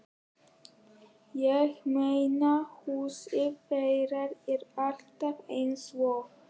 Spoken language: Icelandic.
Ég meina, húsið þeirra er alltaf eins og